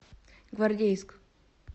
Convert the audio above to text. гвардейск